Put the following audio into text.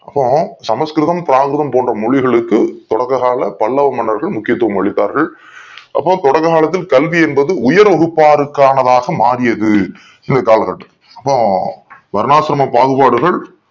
அப்போ சமஸ்கிருதம் பிராகிருதம் போன்ற மொழிகளுக்கு தொடக்க கால பல்லவ மன்னர்கள் முக்கியதுவம் அளிடத்தார்கலள் அப்போ தொடக்க காலத்தில் கல்வி என்பது உயர் வகுபாருக்கு ஆனதாக மாரியது இது கால கட்டம் அப்போ வரலாற்றின் பாகுபாடுகள்